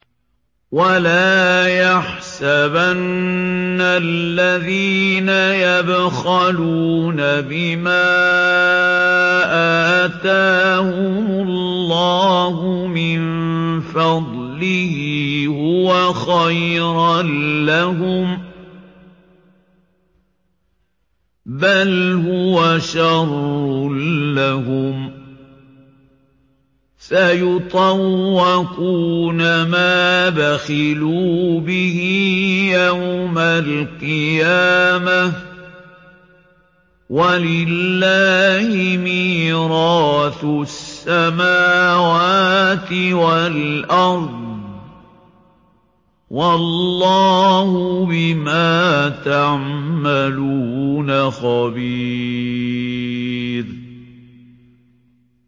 وَلَا يَحْسَبَنَّ الَّذِينَ يَبْخَلُونَ بِمَا آتَاهُمُ اللَّهُ مِن فَضْلِهِ هُوَ خَيْرًا لَّهُم ۖ بَلْ هُوَ شَرٌّ لَّهُمْ ۖ سَيُطَوَّقُونَ مَا بَخِلُوا بِهِ يَوْمَ الْقِيَامَةِ ۗ وَلِلَّهِ مِيرَاثُ السَّمَاوَاتِ وَالْأَرْضِ ۗ وَاللَّهُ بِمَا تَعْمَلُونَ خَبِيرٌ